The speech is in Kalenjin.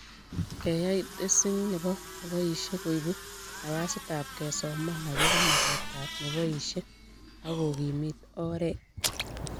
Keyay tesink nebo neboishe koibu nafasitab kesoman akobo magetab neboishe ak kokimit oret